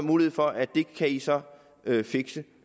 mulighed for at de så kan fixe